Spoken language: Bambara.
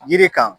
Yiri kan